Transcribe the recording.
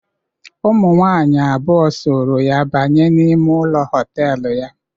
Ụmụnwaanyị abụọ sooro ya banye n'ime ụlọ họtelu ya.